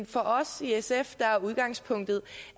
for os i sf er udgangspunktet